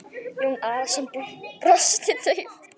Jón Arason brosti dauft.